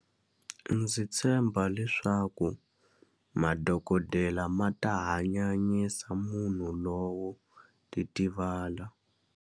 Ndzi tshemba leswaku madokodela ma ta hanyanyisa munhu lowo titivala.